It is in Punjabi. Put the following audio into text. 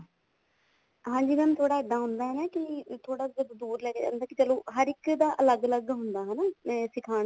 ਹਾਂਜੀ mam ਥੋੜਾ ਇੱਦਾਂ ਹੁੰਦਾ ਹੈ ਨਾ ਕੇ ਥੋੜਾ ਜਦੋਂ ਦੁਰ ਲੈਕੇ ਜਾਂਦਾ ਚਲੋ ਹਰ ਇੱਕ ਦਾ ਅਲੱਗ ਅਲੱਗ ਹੁੰਦਾ ਹਨਾ ਤੇ ਸਿਖਾਣ